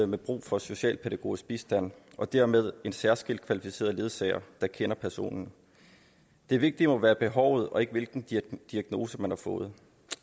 med brug for socialpædagogisk bistand og dermed en særskilt kvalificeret ledsager der kender personen det vigtige må være behovet og ikke hvilken diagnose man har fået